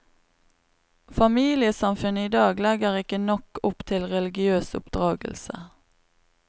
Familiesamfunnet i dag legger ikke nok opp til religiøs oppdragelse.